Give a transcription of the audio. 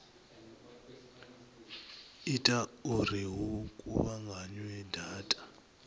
ita uri hu kuvhunganywe data